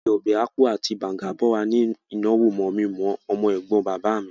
Wọ́n fí ápú àti ọbẹ̀ bàùngá bọ́ wa níbí ìnáwó mọ̀-mi-mọ̀-ọ́ ọmọ-ẹ̀gbọ́n bàbá mi